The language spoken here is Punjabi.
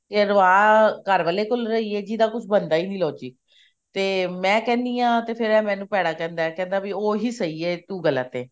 ਕਹਿਲਵਾ ਘਰ ਵਾਲੇ ਕੋਲੋਂ ਰਹੀ ਹੈ ਜਿਹਦਾ ਕੁਝ ਬਣਦਾ ਹੈ ਨੀ logic ਤੇ ਮੈਂ ਕਹਿਣੀ ਹਾਂ ਤੇ ਫ਼ੇਰ ਇਹ ਮੈਨੂੰ ਭੇੜਾ ਕਹਿੰਦਾ ਵਈ ਉਹੀ ਸਹੀ ਹੈ ਤੂੰ ਗਲਤ ਹੈ